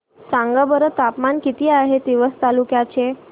सांगा बरं तापमान किती आहे तिवसा तालुक्या चे